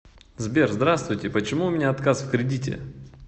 сбер здравствуйте почему у меня отказ в кредите